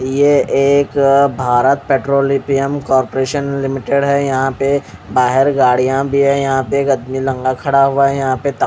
ये एक Bharat petroleum corporation limited है यहाँ पे बाहर गाड़िया भी है यहाँ पे एक आदमी नंगा खड़ा हुआ है यहाँ पे--